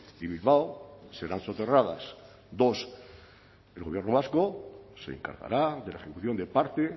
y bilbao serán soterradas dos el gobierno vasco se encargará de la ejecución de parte